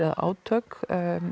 og átök